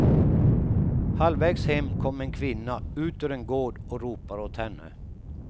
Halvvägs hem kom en kvinna ut ur en gård och ropar åt henne.